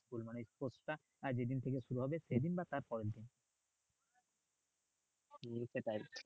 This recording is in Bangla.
আহ যে দিন থেকে শুরু হবে সে দিন বা তার পরের দিন সেটাই